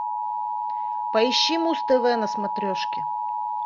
поищи муз тв на смотрешке